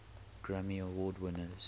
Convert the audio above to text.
grammy award winners